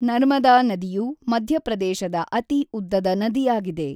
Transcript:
ನರ್ಮದಾ ನದಿಯು ಮಧ್ಯಪ್ರದೇಶದ ಅತಿ ಉದ್ದದ ನದಿಯಾಗಿದೆ.